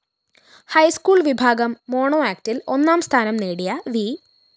high school‍ വിഭാഗം mono ആക്ടില്‍ ഒന്നാം സ്ഥാനം നേടിയ വി